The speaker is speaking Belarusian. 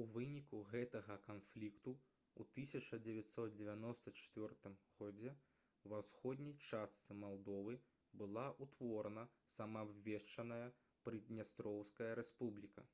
у выніку гэтага канфлікту ў 1994 г ва ўсходняй частцы малдовы была ўтворана самаабвешчаная прыднястроўская рэспубліка